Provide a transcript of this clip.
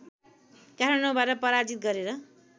काठमाडौँबाट पराजित गरेर